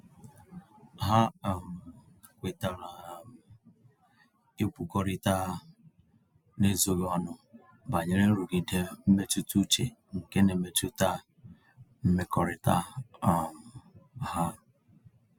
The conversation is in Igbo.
Ha um kwetara um ịkwukọrịta n'ezoghị ọnụ banyere nrụgide mmetụta uche nke n'emetụta mmekọrịta um ha.